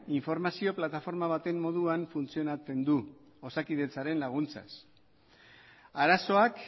informazio plataforma baten moduan funtzionatzen du osakidetzaren laguntzaz arazoak